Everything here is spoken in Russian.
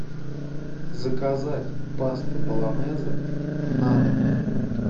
заказать пасту болонезе на дом